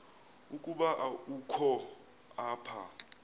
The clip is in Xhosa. ukuba ukho apha